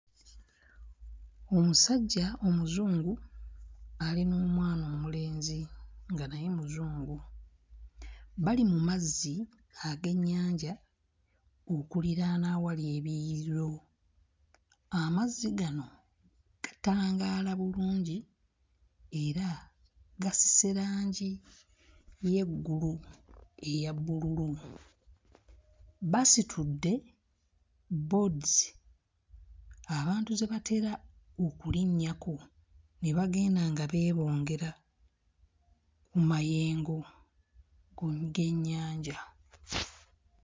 Omusajja omuzungu ali n'omwana omulenzi nga naye muzungu bali mu mazzi ag'ennyanja okuliraana awali ebiyiriro, amazzi gano gatangaala bulungi era gasise langi y'eggulu eya bbululu, basitudde boards abantu ze batera okulinnyako ne bagenda nga bebongera ku mayengo g'ennyanja.